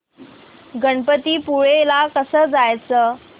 गणपतीपुळे ला कसं जायचं